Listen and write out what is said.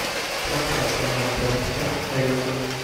трансляция матча вест хэм эвертон